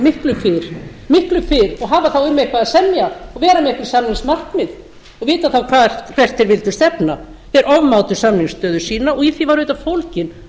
miklu fyrr og hafa þá um eitthvað að semja og vera með einhver samningsmarkmið og vita þá hvert þeir vildu stefna þeir ofmátu samningsstöðu sína og í því var auðvitað fólginn